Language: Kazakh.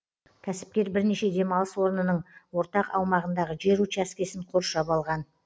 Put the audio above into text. кәсіпкер бірнеше демалыс орнының ортақ аумағындағы жер учаскесін қоршап алған